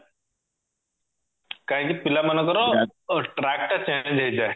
କାହିଁକି ପିଲାମାନଙ୍କର track ଟା change ହେଇଯାଏ